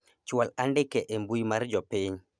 chwal andike e mbui mar jopiny